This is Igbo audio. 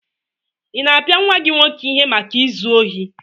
Ị na-apịa nwa gị nwoke ihe maka izu ohi?